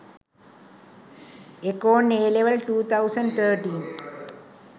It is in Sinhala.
econ AL 2013